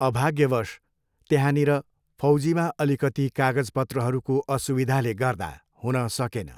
अभाग्यवश, त्यहाँनिर फौजीमा अलिकति कागजपत्रहरूको असुविधाले गर्दा हुन सकेन।